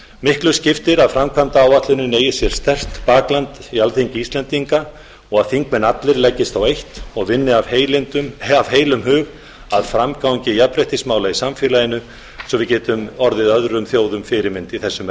miklu skiptir að framkvæmdaáætlunin eigi sér sterkt bakland í alþingi íslendinga og að þingmenn allir leggist á eitt og vinni af heilum hug að framgangi jafnréttismála í samfélaginu svo við getum orðið öðrum þjóðum fyrirmynd í þessum